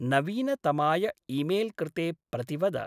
नवीनतमाय ईमेल्कृते प्रतिवद।